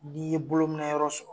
N'i ye bolo minɛ yɔrɔ sɔrɔ